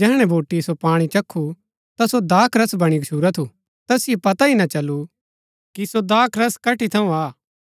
जैहणै बोटिऐ सो पाणी चक्खू ता सो दाखरस बणी गच्छुरा थू तैसिओ पता ही ना चलु कि सो दाखरस कठी थऊँ आ